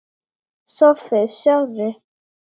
SOPHUS: Sjáðu!